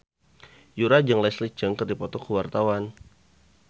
Yura jeung Leslie Cheung keur dipoto ku wartawan